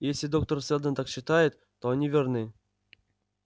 если доктор сэлдон так считает то они верны